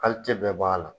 bɛɛ b'a la